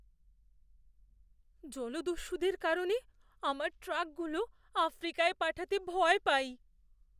জলদস্যুদের কারণে আমার ট্রাকগুলো আফ্রিকায় পাঠাতে ভয় পাই।